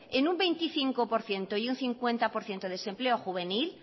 en un veinticinco por ciento y un cincuenta por ciento de desempleo juvenil